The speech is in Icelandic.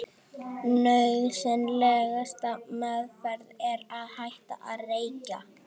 Nauðsynlegasta meðferðin er að hætta að reykja.